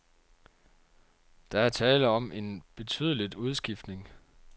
Der er tale om en betydeligt udskiftning.